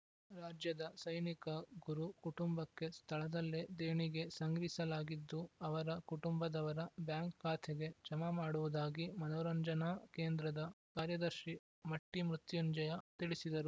ರಾಜ್ಯದ ಸೈನಿಕ ಗುರು ಕುಟುಂಬಕ್ಕೆ ಸ್ಥಳದಲ್ಲೇ ದೇಣಿಗೆ ಸಂಗ್ರಿಸಲಾಗಿದ್ದು ಅವರ ಕುಟುಂಬದವರ ಬ್ಯಾಂಕ್‌ ಖಾತೆಗೆ ಜಮಾ ಮಾಡುವುದಾಗಿ ಮನೋರಂಜನಾ ಕೇಂದ್ರದ ಕಾರ್ಯದರ್ಶಿ ಮಟ್ಟಿಮೃತುಂಜಯ್ಯ ತಿಳಿಸಿದರು